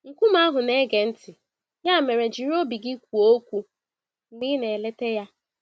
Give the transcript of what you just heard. Nkume ahụ na-ege ntị - ya mere jiri obi gị kwuo okwu mgbe ị na-eleta ya.